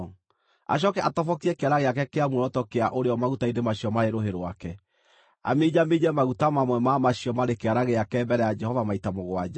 acooke atobokie kĩara gĩake kĩa muoroto kĩa ũrĩo maguta-inĩ macio marĩ rũhĩ rwake, aminjaminje maguta mamwe ma macio marĩ kĩara gĩake mbere ya Jehova maita mũgwanja.